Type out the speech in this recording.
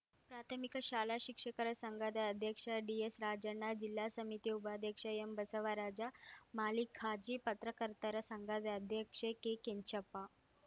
ಪ್ರಾಥಮಿಕ ಶಾಲಾ ಶಿಕ್ಷಕರ ಸಂಘದ ಅಧ್ಯಕ್ಷ ಡಿಎಸ್‌ರಾಜಣ್ಣ ಜಿಲ್ಲಾ ಸಮಿತಿ ಉಪಾಧ್ಯಕ್ಷ ಎಂಬಸವರಾಜ ಮಾಲೀಕ್‌ ಖಾಜಿ ಪತ್ರಕರ್ತರ ಸಂಘದ ಅಧ್ಯಕ್ಷೆ ಕೆಕೆಂಚಪ್ಪ